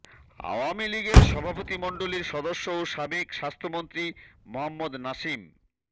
আওয়ামী লীগের সভাপতিমণ্ডলীর সদস্য ও সাবেক স্বাস্থ্যমন্ত্রী মোহাম্মদ নাসিম